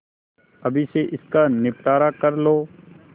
अभी से इसका निपटारा कर लो